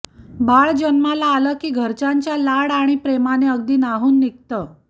बाळ जन्माला आलं की घरच्यांच्या लाड आणि प्रेमाने अगदी न्हाऊन निघतं